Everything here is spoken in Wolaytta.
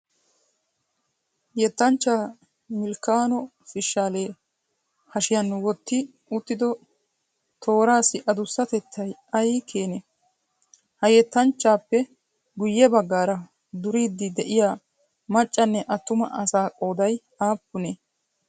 Yettanchchaa Milkkano Fishalee hashiyan wotti uttido tooraassi adussatettayi ayikeenee? Ha yettanchchaappe guyye baggaara duriiddi de'iyaa maccanne attuma assa qoodayi aappunee?